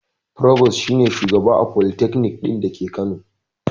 Furobos shi ne shugaba a folitakanik ɗin da ke kano